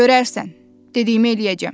Görərsən, dediyimi eləyəcəm.